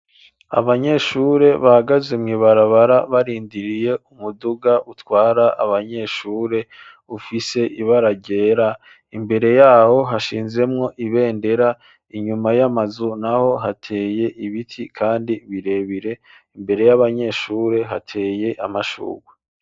Abanyeshure bahagaze mw'ibarabara barindiriye umuduga utwara abanyeshure ufise ibara ryera, imbere yaho hashinzemwo ibendera, inyuma y'amazu naho hateye ibiti kandi birebire, imbere y'abanyeshure hateye amashurwe.